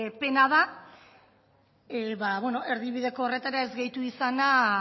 pena da erdibideko horretara ez gehitu izana